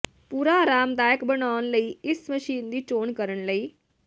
ਪੂਰਾ ਆਰਾਮਦਾਇਕ ਬਣਾਉਣ ਲਈ ਇਸ ਮਸ਼ੀਨ ਦੀ ਚੋਣ ਕਰਨ ਲਈ